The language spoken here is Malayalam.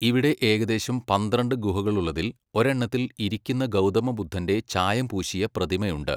ഇവിടെ ഏകദേശം പന്ത്രണ്ട് ഗുഹകളുള്ളതിൽ ഒരെണ്ണത്തിൽ ഇരിക്കുന്ന ഗൗതമ ബുദ്ധന്റെ ചായം പൂശിയ പ്രതിമ ഉണ്ട്.